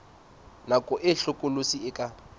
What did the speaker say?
nako e hlokolosi e ka